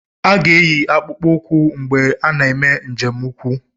A ga-eyi akpụkpọ ụkwụ mgbe ị na-eme njem ukwu.